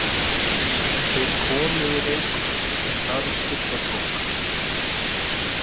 Þeir komu í Reykholt um það er skyggja tók.